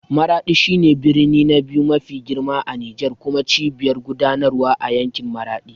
Maraɗi shi ne birni na biyu mafi girma a Nijar kuma cibiyar gudanarwa a yankin Maradi.